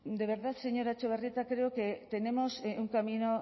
de verdad señora etxebarrieta creo que tenemos un camino